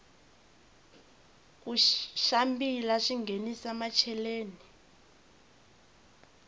ku xambila swinghenisa macheleni